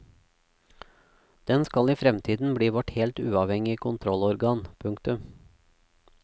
Den skal i fremtiden bli vårt helt uavhengige kontrollorgan. punktum